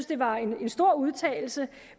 det var en stor udtalelse